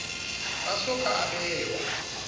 a so ka a bewa